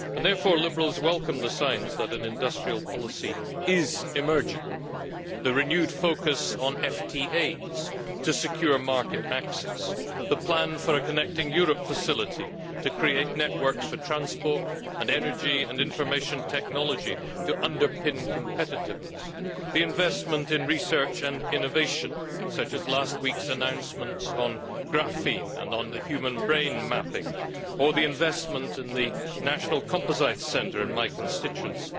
Therefore Liberals welcome the signs that an industrial policy is emerging the renewed focus on FTAs to secure market access, the plan for a Connecting Europe Facility to create networks for transport and energy and information technology to underpin competitiveness, the investment in research and innovation, such as last week's announcements on graphene and on human brain mapping, or the investment in the National Composites Centre in my constituency.